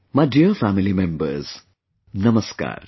My dear family members, Namaskar